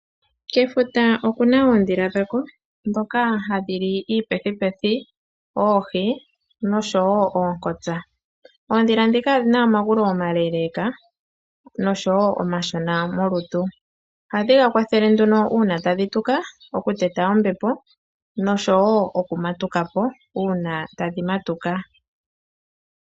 Kefuta oku na oondhila dhako ndhoka ha dhi li iipethipethi , oohi nosho wo oonkotsa. Oondhila ndhika odhina omagulu oma leeleeka nosho wo omashona molutu. Ohadhi ga kwathele nduno uuna tadhi tuka oku teta ombepo nosho wo oku natuka po uuna tadhi matuka.